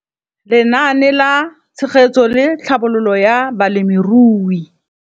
Lenaane la Tshegetso le Tlhabololo ya Balemirui.